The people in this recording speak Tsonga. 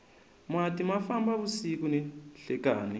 mati ma famba vusiku ni nhlekani